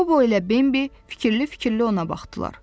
Qobo ilə Bembi fikirli-fikirli ona baxdılar.